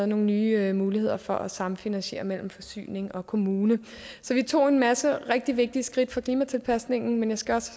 nogle nye muligheder for at samfinansiere mellem forsyning og kommune så vi tog en masse rigtig vigtige skridt for klimatilpasningen men jeg skal også